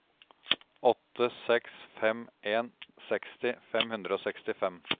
åtte seks fem en seksti fem hundre og sekstifem